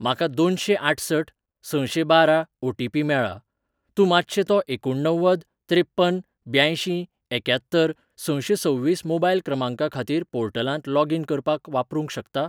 म्हाका दोनशेंआठसठ सशेंबारा ओटीपी मेळ्ळा, तूं मातशें तो एकुणणव्वद त्रेप्पन ब्यांयशीं एक्यात्तर सशेंसव्वीस मोबायल क्रमांका खातीर पोर्टलांत लॉगीन करपाक वापरूंक शकता ?